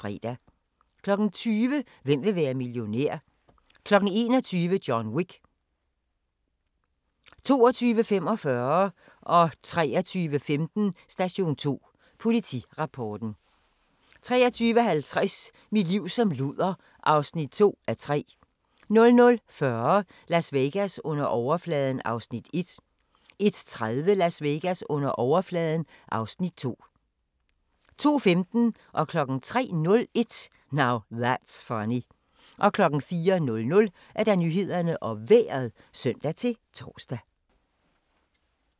20:00: Hvem vil være millionær? 21:00: John Wick 22:45: Station 2: Politirapporten * 23:15: Station 2: Politirapporten * 23:50: Mit liv som luder (2:3) 00:40: Las Vegas under overfladen (Afs. 1) 01:30: Las Vegas under overfladen (Afs. 2) 02:15: Now That's Funny 03:01: Now That's Funny 04:00: Nyhederne og Vejret (søn-tor)